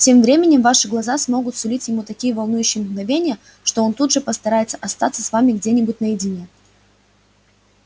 тем временем ваши глаза смогут сулить ему такие волнующие мгновения что он тут же постарается остаться с вами где-нибудь наедине